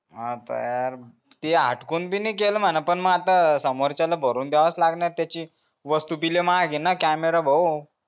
आता यार ते हाटकून बी नई केल म्हणा पण म आता समोरच्याला भरून द्यावाच लागणार त्याची वस्तू ती लय महाग camera भाऊ